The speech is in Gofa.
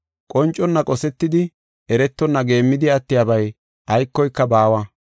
Qonconna qosetidi, eretonna geemmidi attiyabay aykoyka baawa.